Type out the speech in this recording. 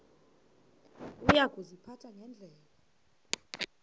uya kuziphatha ngendlela